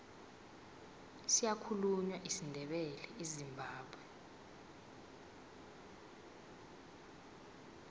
siyakhulunywa isindebele ezimbabwe